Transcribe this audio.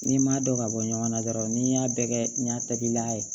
N'i m'a dɔn ka bɔ ɲɔgɔn na dɔrɔn n'i y'a bɛɛ kɛ ɲagami la